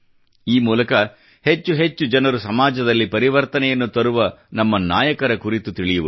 ಈ ಮೂಲಕ ಹೆಚ್ಚೆಚ್ಚು ಜನರು ಸಮಾಜದಲ್ಲಿ ಪರಿವರ್ತನೆಯನ್ನು ತರುವ ನಮ್ಮ ನಾಯಕರ ಕುರಿತು ತಿಳಿಯುವರು